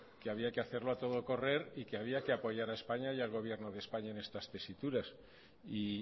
que había que hacerlo a todo correr y que había que apoyar a españa y al gobierno de españa en estas tesituras y